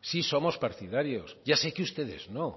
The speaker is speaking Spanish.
sí somos partidarios ya sé que ustedes no